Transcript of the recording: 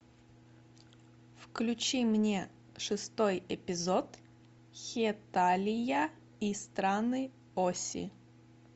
включи мне шестой эпизод хеталия и страны оси